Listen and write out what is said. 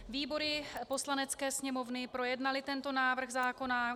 Výbory Poslanecké sněmovny projednaly tento návrh zákona.